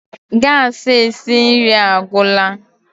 gas esi nri agwụla